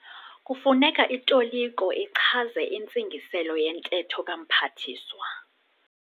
Kufuneka itoliko ichaze intsigiselo yentetho kaMphathiswa..